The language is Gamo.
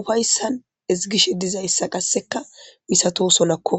ufaysan ezgishe dizayssa qasseka misatosonako.